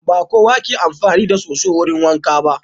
Ba kowa ke amfani da soso wurin wanka ba.